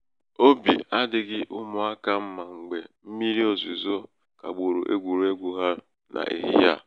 obi adịghị ụmụaka mma mgbe mmírí ozuzo kagburu egwuregwu ha n'ehihie a.